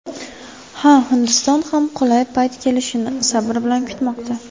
Ha, Hindiston ham qulay payt kelishini sabr bilan kutmoqda.